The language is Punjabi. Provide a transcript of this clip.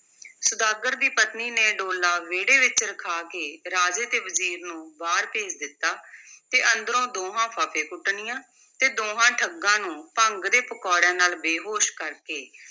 ਸੁਦਾਗਰ ਦੀ ਪਤਨੀ ਨੇ ਡੋਲਾ ਵਿਹੜੇ ਵਿੱਚ ਰਖਾ ਕੇ ਰਾਜੇ ਤੇ ਵਜ਼ੀਰ ਨੂੰ ਬਾਹਰ ਭੇਜ ਦਿੱਤਾ ਤੇ ਅੰਦਰੋਂ ਦੋਹਾਂ ਫੱਫੇਕੁੱਟਣੀਆਂ ਤੇ ਦੋਹਾਂ ਠੱਗਾਂ ਨੂੰ ਭੰਗ ਦੇ ਪਕੌੜਿਆਂ ਨਾਲ਼ ਬੇਹੋਸ਼ ਕਰ ਕੇ,